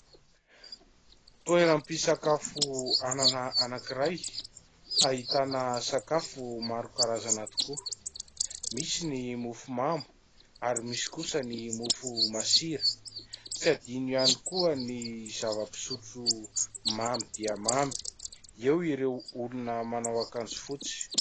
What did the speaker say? Toeram-pisakafoanana anankiray ahitana sakafo maro karazana tokoa. Misy ny mofo mamy ary misy ihany kosa ny mofo masira. Tsy adino ihany koa ny zava-pisotro mamy dia mamy. Eo ireo olona manao akanjo fotsy.